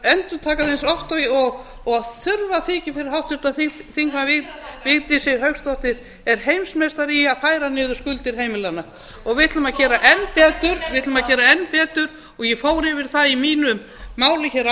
endurtaka það eins oft og þurfa þykir fyrir háttvirtum þingmanni vigdísi hauksdóttur er heimsmeistari í að færa niður skuldir heimilanna og við ætlum að gera enn betur við ætlum að gera enn betur og ég fór yfir það í mínu máli hér